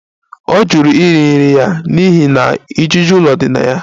Ọ jụrụ iri nri ya n'ihi na ijiji ụlọ dị na ya